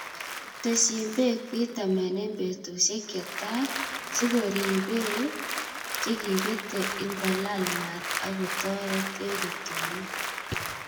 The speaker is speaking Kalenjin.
Tesyin beek pitamen en betusiek chetai sikoribik chekibete ingolaal maat ak kotoret en rutunet.